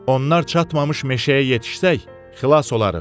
Onlar çatmamış meşəyə yetişsək, xilas olarıq.